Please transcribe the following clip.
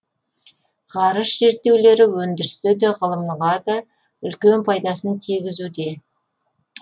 ғарыш зерттеулері өндірісте де ғылымға да үлкен пайдасын тигізуде